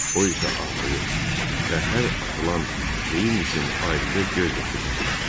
O isə ağlayır və hər atılan geyim üçün ayrıca göz yaşı tökürdü.